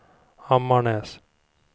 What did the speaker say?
Ammarnäs